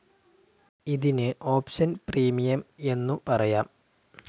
ഇതിന് option premium എന്നു പറയാം.